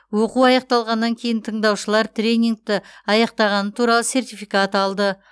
оқу аяқталғаннан кейін тыңдаушылар тренингті аяқтағаны туралы сертификат алды